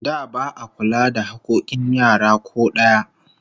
Da ba'a kula da hakkokin yara ko daya